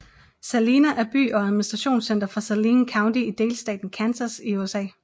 Salina er by og administrationscenter for Saline County i delstaten Kansas i USA